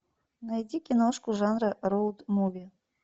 найди киношку жанра роуд муви